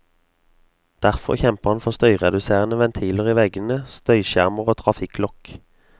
Derfor kjemper han for støyreduserende ventiler i veggene, støyskjermer og trafikklokk.